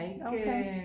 Okay